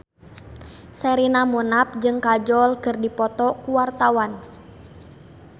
Sherina Munaf jeung Kajol keur dipoto ku wartawan